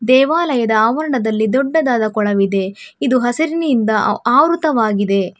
ದೇವಾಲಯದ ಆವರಣದಲ್ಲಿ ದೊಡ್ಡದಾದ ಕೊಳವಿದೆ ಇದು ಹಸಿರಿನಿಂದ ಆವ್ರುತವಾಗಿದೆ.